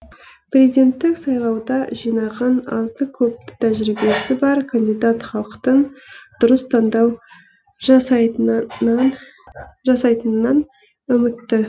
президенттік сайлауда жинаған азды көпті тәжірибесі бар кандидат халықтың дұрыс таңдау жасайтынынан үмітті